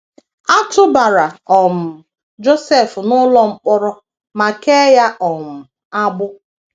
A tụbara um Josef n’ụlọ mkpọrọ ma kee ya um agbụ.